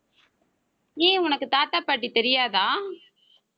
ஏன், உனக்கு தாத்தா பாட்டி தெரியாதா